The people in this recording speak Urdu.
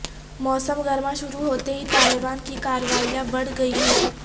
موسم گرما شروع ہوتے ہی طالبان کی کارروائیاں بڑھ گئی ہیں